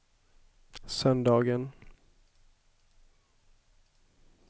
söndagen